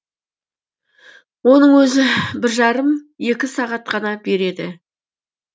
оның өзі бір жарым екі сағат қана береді